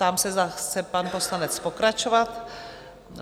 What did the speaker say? Ptám se, zda chce pan poslanec pokračovat?